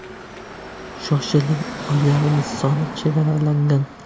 Shoshiling uylarimiz soni chegaralangan.